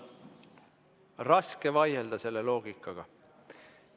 Raske on vaielda selle loogikaga.